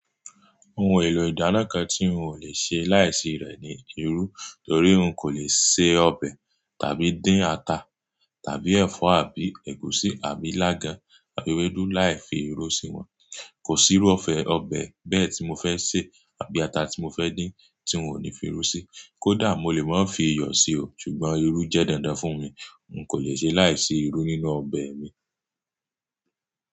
Ohun èlò ìdáná kan tí n ò lè ṣe láìsí rẹ̀ ni irú. Torí n kò le se ọbẹ̀ tàbí dín ata tàbí ẹ̀fọ́ àbí ẹ̀gúsí àbí ilágàn àbí ewédú láì fi irú sí wọ́n. Kò sí irú ọbẹ̀ bẹ́ẹ̀ tí mo fẹ́ se àbí ata tí mo fẹ́ dín tí n ò ní fi irú sí. Kódà mo lè má fi iyọ̀ sí o, ṣùgbọ́n irú jẹ́ dandan fún mi. N kò le ṣe láìsí irú nínú ọbẹ̀ mi.